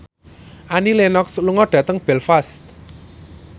Annie Lenox lunga dhateng Belfast